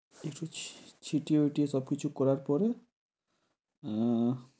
একটু ছি~ ছিটিয়ে ইটিয়ে সবকিছু করার পরে আহ